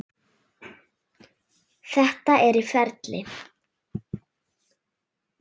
Þetta er í ferli.